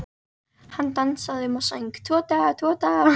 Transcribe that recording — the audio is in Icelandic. Hann dansaði um og söng: Tvo daga, tvo daga